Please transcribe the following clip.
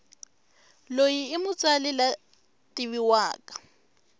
loyi imutsali lwativiwaka